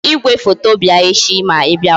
Jiri igwefoto bịa echi ma I bịawa